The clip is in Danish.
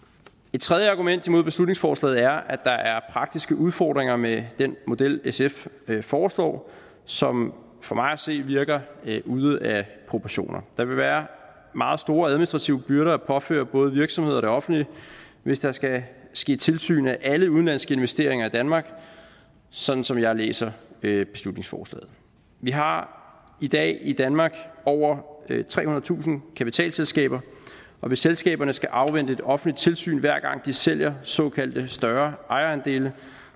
et tredje argument imod beslutningsforslaget er at der er praktiske udfordringer med den model sf foreslår som for mig at se virker ude af proportioner der vil være meget store administrative byrder at påføre både virksomheder og det offentlige hvis der skal ske tilsyn af alle udenlandske investeringer i danmark sådan som jeg læser beslutningsforslaget vi har i dag i danmark over trehundredetusind kapitalselskaber og hvis selskaberne skal afvente et offentligt tilsyn hver gang de sælger såkaldte større ejerandele